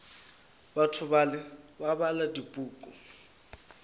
batho bale ba bala dipuku